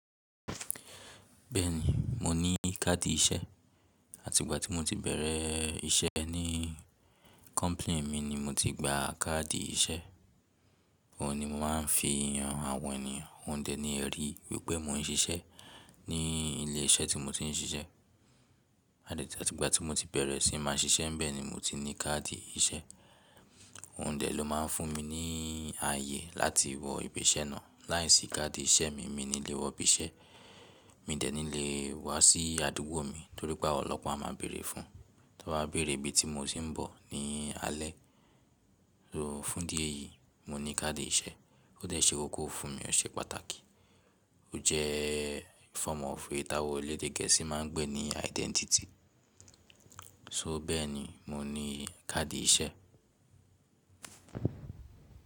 Bẹ́ẹ̀ni, mo ní card iṣẹ́ àti ìgbà tí mo tii bẹ̀rẹ̀ iṣẹ́ ní company mi ni mo tii gba card iṣẹ́. Òun ni mo máa ń fi han àwọn ènìyàn, òun dẹ̀ ni ẹ̀rí pé mo ń ṣiṣẹ́ ní ilé iṣẹ́ tii mo ti ń ṣiṣẹ́ o tii pé tí mo ti bẹ̀rẹ̀ sí máa ń ṣiṣẹ́ ńbẹ̀ ni mo ti ní card iṣẹ́. Òun dẹ̀ ló máa ń fún mi ní àyè láti wọ ibi iṣẹ́ náà láì sí card iṣẹ́ mi, mi ní lè wọ ibi iṣẹ́. Mi dẹ̀ níí lè wá sí àdúgbò mi torí pé àwọn ọlọ́pà máa má béèrè fún. Tọ́n bá bérè ibi tí mo ti ń bọ̀ ní alẹ́. So fún ìdí èyí, mo ní card iṣẹ́, ó dẹ̀ ṣe kókó fún mi. Ó ṣe pàtàkì. Ó jẹ́ form of èyí táwọn ẹlẹ́dẹ̀ gẹ̀ẹ́sì máa ń pè ní identity. So bẹ́ẹ̀ ni, mo ní card iṣẹ́.